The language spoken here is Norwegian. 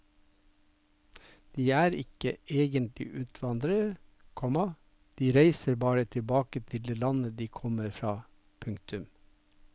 De er ikke egentlig utvandrere, komma de reiser bare tilbake til det landet de kommer fra. punktum